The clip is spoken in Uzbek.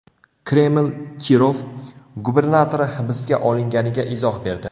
Kreml Kirov gubernatori hibsga olinganiga izoh berdi.